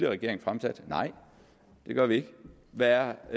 regering fremsatte nej det gør vi ikke hvad er